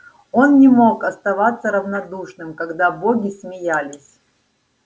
он не мог оставаться равнодушным когда боги смеялись